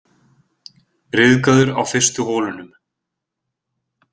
Ryðgaður á fyrstu holunum